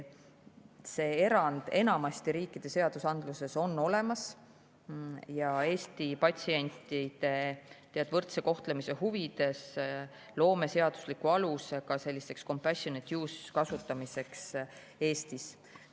See erand enamasti riikide seadusandluses on olemas ja Eesti patsientide võrdse kohtlemise huvides loome seadusliku aluse selliseks compassionate-use kasutamiseks Eestis.